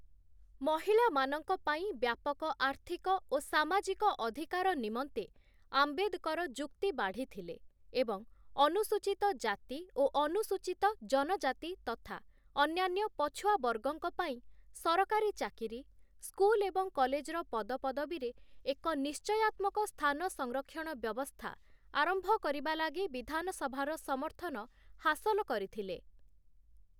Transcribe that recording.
ମହିଳାମାନଙ୍କପାଇଁ ବ୍ୟାପକ ଆର୍ଥିକ ଓ ସାମାଜିକ ଅଧିକାର ନିମନ୍ତେ ଆମ୍ବେଦକର ଯୁକ୍ତି ବାଢ଼ିଥିଲେ ଏବଂ ଅନୁସୂଚୀତ ଜାତି ଓ ଅନୁସୂଚୀତ ଜନଜାତି ତଥା ଅନ୍ୟାନ୍ୟ ପଛୁଆ ବର୍ଗଙ୍କପାଇଁ ସରକାରୀ ଚାକିରି, ସ୍କୁଲ ଏବଂ କଲେଜର ପଦପଦବୀରେ ଏକ ନିଶ୍ଚୟାତ୍ମକ ସ୍ଥାନ ସଂରକ୍ଷଣ ବ୍ୟବସ୍ଥା ଆରମ୍ଭ କରିବା ଲାଗି ବିଧାନସଭାର ସମର୍ଥନ ହାସଲ କରିଥିଲେ ।